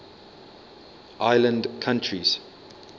island countries